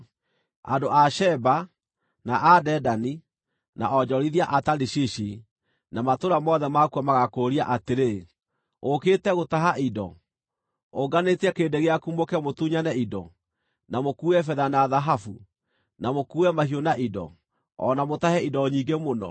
Andũ a Sheba, na a Dedani, na onjorithia a Tarishishi na matũũra mothe makuo magaakũũria atĩrĩ, “Ũũkĩte gũtaha indo? Ũnganĩtie kĩrĩndĩ gĩaku mũũke mũtunyane indo, na mũkuue betha na thahabu, na mũkuue mahiũ na indo, o na mũtahe indo nyingĩ mũno?” ’